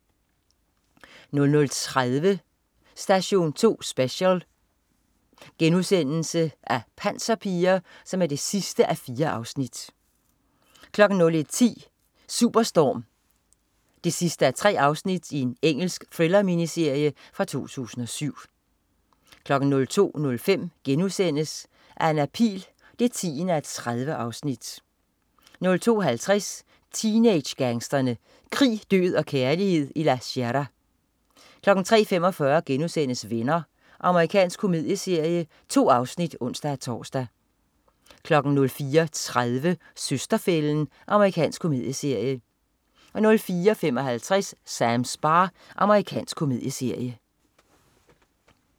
00.30 Station 2 Special: Panserpiger 4:4* 01.10 Superstorm 3:3. Engelsk thriller-miniserie fra 2007 02.05 Anna Pihl 10:30* 02.50 Teenage-gangsterne. Krig, død og kærlighed i La Sierra 03.45 Venner.* Amerikansk komedieserie. 2 afsnit (ons-tors) 04.30 Søster-fælden. Amerikansk komedieserie 04.55 Sams bar. Amerikansk komedieserie